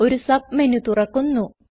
ഒരു സബ്മെന് തുറക്കുന്നു